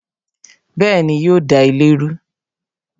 Bẹẹni, yo da ilé rú